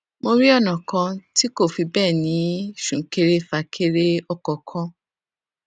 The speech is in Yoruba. mo rí ònà kan tí kò fi béè ní súnkẹrẹfàkẹrẹọkò kankan